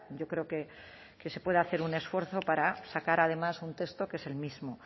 yo creo que se puede hacer un esfuerzo para sacar además un texto que es el mismo